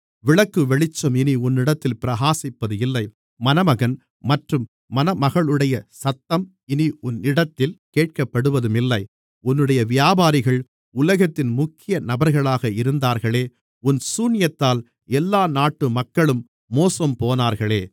விளக்குவெளிச்சம் இனி உன்னிடத்தில் பிரகாசிப்பதுமில்லை மணமகன் மற்றும் மணமகளுடைய சத்தம் இனி உன்னிடத்தில் கேட்கப்படுவதுமில்லை உன்னுடைய வியாபாரிகள் உலகத்தின் முக்கிய நபர்களாக இருந்தார்களே உன் சூனியத்தால் எல்லா நாட்டு மக்களும் மோசம்போனார்களே